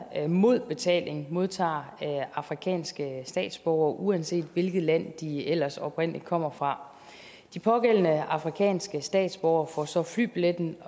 mod betaling modtager afrikanske statsborgere uanset hvilket land de ellers oprindelig kommer fra de pågældende afrikanske statsborgere får så flybilletten